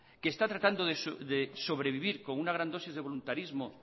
que está tratando de sobrevivir con una gran dosis de voluntarismo